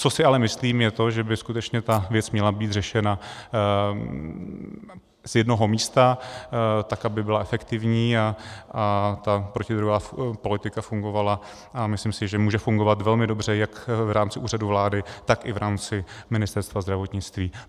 Co si ale myslím, je to, že by skutečně ta věc měla být řešena z jednoho místa, tak aby byla efektivní a ta protidrogová politika fungovala, a myslím si, že může fungovat velmi dobře jak v rámci Úřadu vlády, tak i v rámci Ministerstva zdravotnictví.